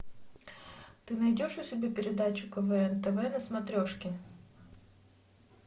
ты найдешь у себя передачу квн тв на смотрешке